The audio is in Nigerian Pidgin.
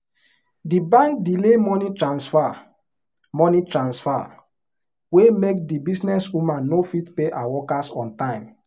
the bank delay money transfer money transfer wey make the businesswoman no fit pay her workers on time.